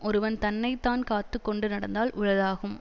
ஒருவன் தன்னை தான் காத்து கொண்டு நடந்தால் உளதாகும்